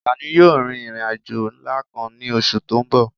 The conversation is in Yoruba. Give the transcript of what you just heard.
Àlàní yóò rin ìrìn àjò ńlá kan ní oṣù tó ń bọ̀